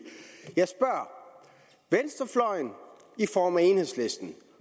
venstrefløjen i form af enhedslisten